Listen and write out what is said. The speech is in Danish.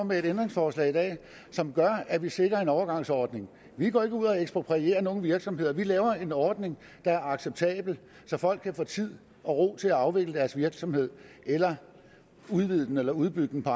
med et ændringsforslag som gør at vi sikrer en overgangsordning vi går ikke ud og eksproprierer nogen virksomheder vi laver en ordning der er acceptabel så folk kan få tid og ro til at afvikle deres virksomhed eller udvide den eller udbygge den på